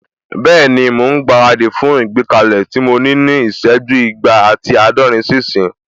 Bẹ́ẹ̀ni, mò ún gbára dì fún ìgbékalẹ̀ tí mo ní ní ìsẹ́jú igba ati àádọ́rin sí ìsín